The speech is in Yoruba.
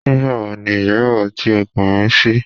Nígbàwo ni ìgbéyàwó ti o pè mí sí?